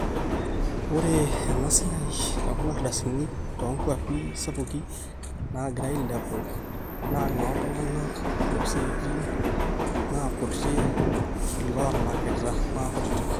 ore ena siaai ekuna ardasini toonkuapi sapuki naagira aailepu naa inooltung'anak loosiaitin naa kuti iloolakilak maakutitik